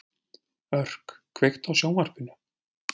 Örk, kveiktu á sjónvarpinu.